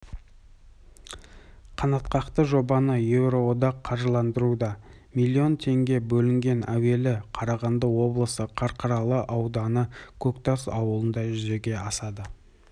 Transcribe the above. қанатқақты жобаны еуроодақ қаржыландыруда млн теңге бөлінген әуелі қарағанды облысының қарқаралы ауданы көктас ауылында жүзеге асады